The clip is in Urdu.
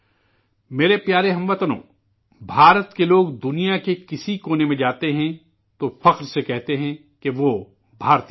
میرے پیارے ہم وطنو، ہندوستان کے لوگ دنیا کے کسی خطے میں جاتے ہیں تو فخر سے کہتے ہیں کہ وہ ہندوستانی ہیں